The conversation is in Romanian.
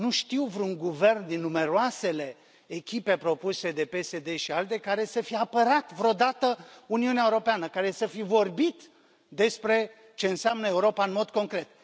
Nu știu vreun guvern din numeroasele echipe propuse de PSD ALDE care să fie apărat vreodată Uniunea Europeană, care să fi vorbit despre ce înseamnă Europa în mod concret.